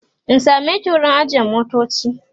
in sameki wurin ajiye motoci?